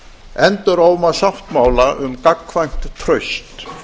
enduróma sáttmála um gagnkvæmt traust